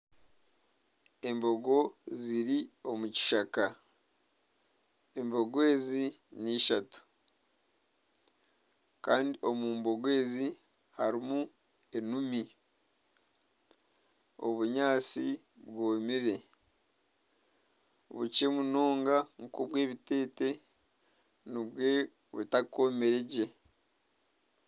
Embogo ziri omu kishaka embogo ezi n'ishatu kandi omu mbogo ezi harimi enumi, obunyaatsi bwomire bukye munonga nka obw'omuteete nibwe butakomire gye